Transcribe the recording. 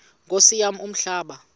nkosi yam umhlaba